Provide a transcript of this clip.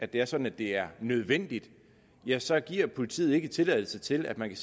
det er sådan at det er nødvendigt ja så giver politiet ikke tilladelse til at man kan